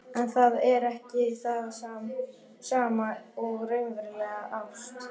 En það er ekki það sama og raunveruleg ást.